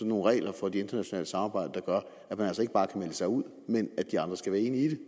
nogle regler for det internationale samarbejde der gør at man altså ikke bare kan melde sig ud men at de andre skal være enige i det